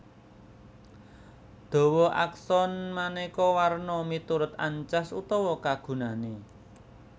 Dawa akson manéka werna miturut ancas utawa kagunané